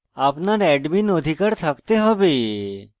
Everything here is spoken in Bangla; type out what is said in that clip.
আপনার অ্যাডমীন অধিকার থাকতে have